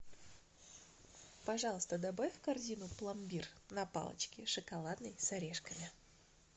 пожалуйста добавь в корзину пломбир на палочке шоколадный с орешками